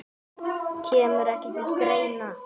Kemur ekki til greina.